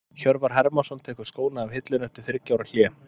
Hjörvar Hermannsson tekur skóna af hillunni eftir þriggja ára hlé.